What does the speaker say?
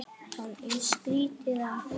Það er skrýtið að heyra.